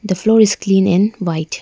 The floor is clean and white.